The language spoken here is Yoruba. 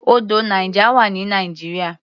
Odò Niger wà ní Nigeria.